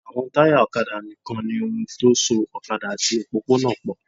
Àwọn táyà ọ̀kadà nìkan ni ohun tó so ọ̀kadà àti òpópó-ọ̀nà pọ̀